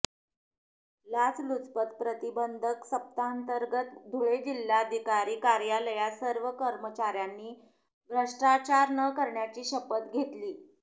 लाचलुचपत प्रतिबंधक सप्ताहांतर्गत धुळे जिल्हाधिकारी कार्यालयात सर्व कर्मचाऱ्यांनी भ्रष्टाचार न करण्याची शपथ घेतली